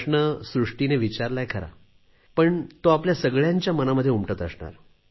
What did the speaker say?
प्रश्न सृष्टीने विचारलाय खरा पण तो आपल्या सगळ्यांच्या मनामध्ये उमटत असणार